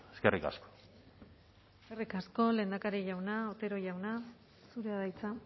eskerrik asko eskerrik asko lehendakari jauna otero jauna zurea da hitza